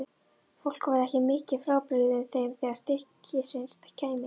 Fólk væri ekki mikið frábrugðið þeim þegar til stykkisins kæmi.